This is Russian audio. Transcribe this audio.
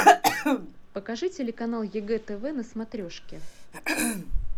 покажи телеканал егэ тв на смотрешке